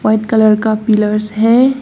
White colour का pillars है।